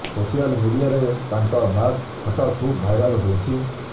social ମିଡିଆରେ ତାଙ୍କ mask photo ଖୁବ ଭାଇରାଲ ହୋଇଛି